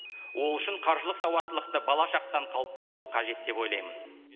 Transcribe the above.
ол үшін қаржылық сауаттылықты бала шақтан қалыптастыру қажет деп ойлаймын